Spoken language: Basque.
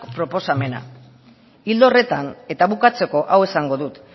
proposamena ildo horretan eta bukatzeko hau esango dut